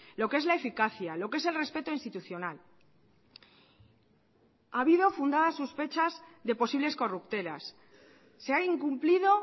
lo que es la eficacia lo que es el respeto institucional ha habido fundadas sospechas de posibles corruptelas se ha incumplido